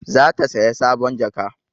Za ta saya sabon jaka